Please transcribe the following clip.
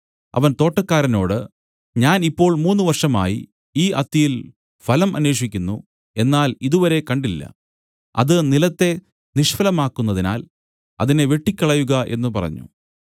അവൻ തോട്ടക്കാരനോട് ഞാൻ ഇപ്പോൾ മൂന്നു വർഷമായി ഈ അത്തിയിൽ ഫലം അന്വേഷിക്കുന്നു എന്നാൽ ഇതുവരെ കണ്ടില്ല അത് നിലത്തെ നിഷ്ഫലമാക്കുന്നതിനാൽ അതിനെ വെട്ടിക്കളയുക എന്നു പറഞ്ഞു